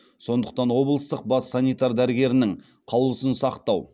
сондықтан облыстық бас санитар дәрігерінің қаулысын сақтау